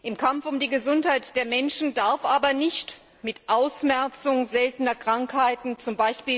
Im Kampf um die Gesundheit der Menschen darf aber nicht von Ausmerzung seltener Krankheiten durch z.